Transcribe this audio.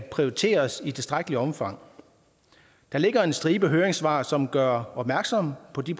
prioriteres i tilstrækkeligt omfang der ligger en stribe høringssvar som gør opmærksom på de